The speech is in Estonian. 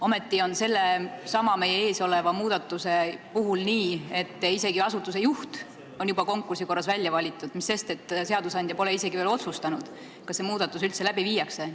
Ometi on sellesama meie ees oleva muudatuse puhul nii, et isegi asutuse juht on juba konkursi korras välja valitud, mis sest, et seadusandja pole isegi veel otsustanud, kas see muudatus üldse ellu viiakse.